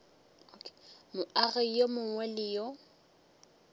moagi yo mongwe le yo